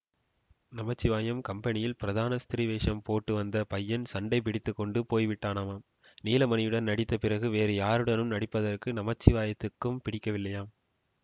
நமச்சிவாயம் கம்பெனியில் பிரதான ஸ்திரீவேஷம் போட்டுவந்த பையன் சண்டை பிடித்து கொண்டு போய்விட்டானாம் நீலமணியுடன் நடித்த பிறகு வேறு யாருடனும் நடிப்பதற்கு நமச்சிவாயத்துக்கும் பிடிக்கவேயில்லையாம்